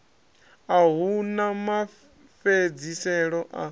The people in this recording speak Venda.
a hu na mafhedziselo a